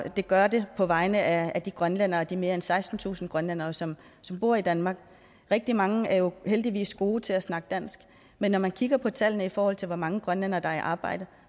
og det gør det på vegne af de grønlændere de mere end sekstentusind grønlændere som bor i danmark rigtig mange er jo heldigvis gode til at snakke dansk men når man kigger på tallene i forhold til hvor mange grønlændere der er i arbejde